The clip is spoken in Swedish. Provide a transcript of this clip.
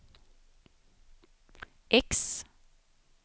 X